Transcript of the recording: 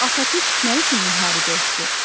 Atatürk nə üçün müharibə etdi?